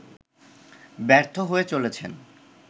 ব্যর্থ হয়ে চলেছেন